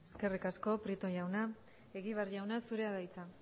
eskerrik asko prieto jauna egibar jauna zurea da hitza